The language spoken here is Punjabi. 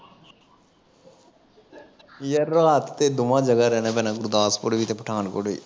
ਯਾਰ ਰਾਤ ਤੇ ਦੋਵਾਂ ਜਗਾਂ ਰਹਿਣਾ ਪੈਣਾ ਗੁਰਦਾਸਪੁਰ ਵੀ ਤੇ ਪਠਾਨਕੋਟ ਵੀ